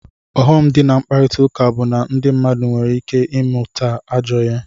Ọghọm di na mkpakọrita bu na ndi mmadu nwere ike imụta ajọ ihe.